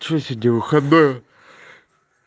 что сегодня выходной